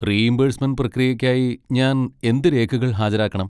Reimbursement പ്രക്രിയയ്ക്കായി, ഞാൻ എന്ത് രേഖകൾ ഹാജരാക്കണം?